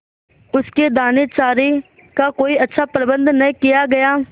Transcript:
उसके दानेचारे का कोई अच्छा प्रबंध न किया गया